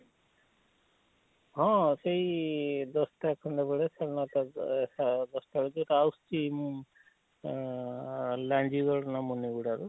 ହଁ ସେଇ ଇଃ ଦଶ ଟା ଖଣ୍ଡେ ବେଳେ ଆଉ ଦଶ ଟା ଭିତରେ ତ ଆଉସଛି ମୁଁ ଆଃ ଲାଗିବ ମୁନିଗୁଡାରୁ,